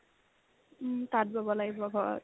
উম্, তাঁত বোৱ লাগিব ঘৰত